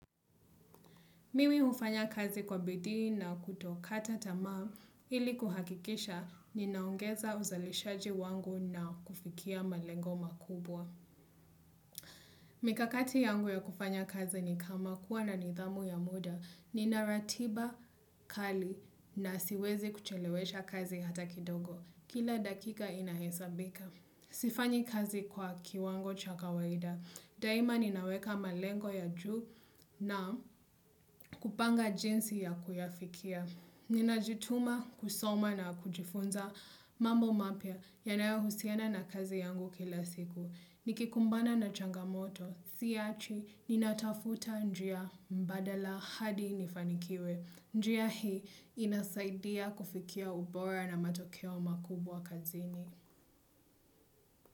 Mimi hufanya kazi kwa bidii na kutokata tamaa ili kuhakikisha ninaongeza uzalishaji wangu na kufikia malengo makubwa. Mikakati yangu ya kufanya kazi ni kama kuwa na nidhamu ya muda. Nina ratiba kali na siwezi kuchelewesha kazi hata kidogo. Kila dakika inahesabika. Sifanyi kazi kwa kiwango cha kawaida. Daima ninaweka malengo ya juu na kupanga jinsi ya kuyafikia. Ninajituma kusoma na kujifunza mambo mapya yanayohusiana na kazi yangu kila siku. Nikikumbana na changamoto, siiachi, ninatafuta njia badala hadi nifanikiwe. Njia hii inasaidia kufikia ubora na matokeo makubwa kazini.